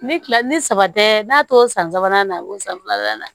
Ni kila ni saba tɛ n'a tɔ san sabanan na a b'o san filanan na